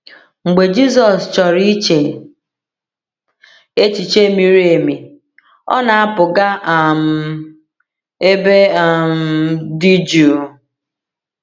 Mgbe Jizọs chọrọ iche echiche miri emi, ọ na-apụ gaa um ebe um dị jụụ.